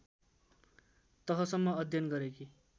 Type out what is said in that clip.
तहसम्म अध्ययन गरेकी